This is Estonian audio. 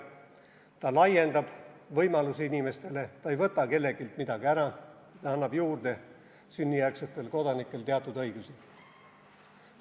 See laiendab inimeste võimalusi, see ei võta kelleltki midagi ära, see annab sünnijärgsetele kodanikele teatud õigusi juurde.